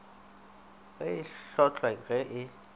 ge e hlotlwa ge e